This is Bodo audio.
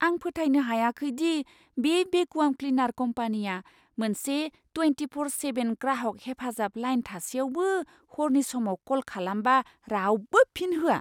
आं फोथायनो हायाखै दि बे भेकुवाम क्लिनार कम्पानीया मोनसे ट्वेनटिफ'र सेभेन ग्राहक हेफाजाब लाइन थासेयावबो हरनि समाव क'ल खालामबा रावबो फिन होआ।